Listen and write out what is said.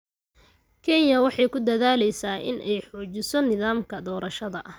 Kenya waxa ay ku dadaalaysaa in ay xoojiso nidaamka doorashada.